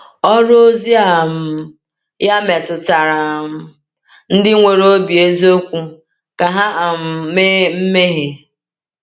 Ọrụ ozi um ya metụtara um ndị nwere obi eziokwu ka ha um mee mmehie.